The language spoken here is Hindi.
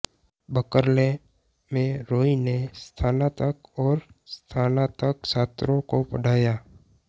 बर्कले में रॉय ने स्नातक और स्नातक छात्रों को पढ़ाया